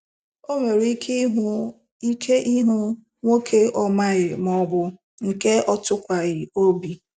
O nwere ike ịhụ ike ịhụ nwoke ọ maghị maọbụ nke ọ tụkwaghị obi